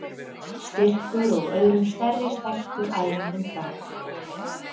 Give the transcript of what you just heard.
Styrkur og öðrum stærri stæltur æfingum frá.